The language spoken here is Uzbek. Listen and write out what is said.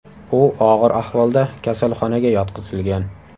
U og‘ir ahvolda kasalxonaga yotqizilgan.